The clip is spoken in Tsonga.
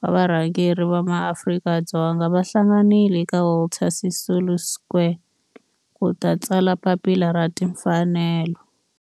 wa varhangeri va maAfrika-Dzonga va hlanganile eka Walter Sisulu Square ku ta tsala Papila ra Tinfanelo.